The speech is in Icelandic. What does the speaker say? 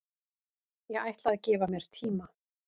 Ég ætla að gefa mér tíma